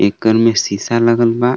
घर में शीशा लगल बा।